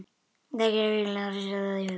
Það gat enginn látið sér detta það í hug.